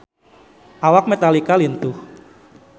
Awak Metallica lintuh